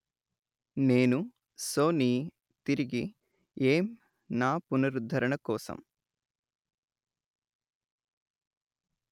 నేను సోనీ తిరిగి ఏం నా పునరుద్ధరణ కోసం